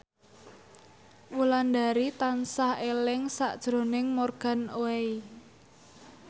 Wulandari tansah eling sakjroning Morgan Oey